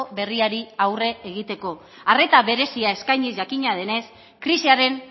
berriari aurre egiteko arreta berezia eskainiz jakina denez krisiaren